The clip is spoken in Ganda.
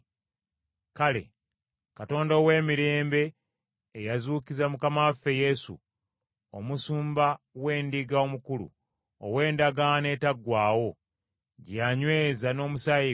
Kale, Katonda ow’emirembe eyazuukiza Mukama waffe Yesu, Omusumba w’endiga omukulu ow’endagaano etaggwaawo gye yanyweza n’omusaayi gwe,